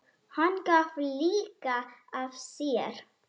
Hann gaf líka af sér.